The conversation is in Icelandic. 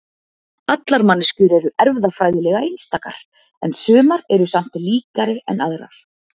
Allar manneskjur eru erfðafræðilega einstakar en sumar eru samt líkari en aðrar.